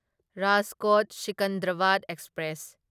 Rajkot Secunderabad express